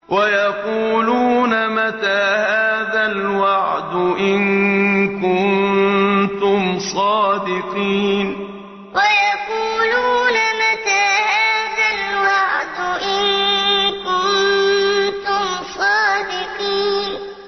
وَيَقُولُونَ مَتَىٰ هَٰذَا الْوَعْدُ إِن كُنتُمْ صَادِقِينَ وَيَقُولُونَ مَتَىٰ هَٰذَا الْوَعْدُ إِن كُنتُمْ صَادِقِينَ